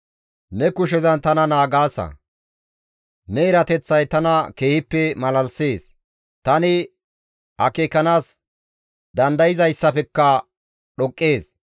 Ne erateththay tana keehippe malalisees; tani akeekanaas dandayzayssafekka dhoqqees.